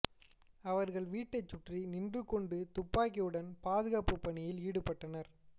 அவர்கள் வீட்டை சுற்றி நின்று கொண்டு துப்பாக்கியுடன் பாதுகாப்பு பணியில் ஈடுபட்டனர்